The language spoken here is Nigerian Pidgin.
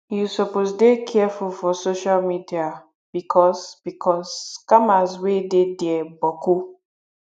you suppose dey careful for social media bicos bicos scammers wey dey dia boku